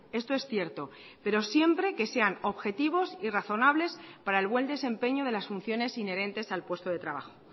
esto es cierto pero siempre que sean objetivos y razonables para el buen desempeño de las funciones inherentes al puesto de trabajo